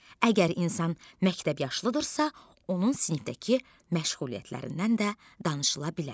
Əgər insan məktəb yaşlıdırsa, onun sinifdəki məşğuliyyətlərindən də danışıla bilər.